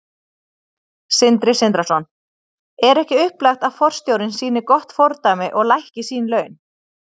Sindri Sindrason: Er ekki upplagt að forstjórinn sýni gott fordæmi og lækki sín laun?